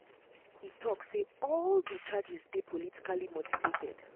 e tok say all say all di um charges dey politically motivated.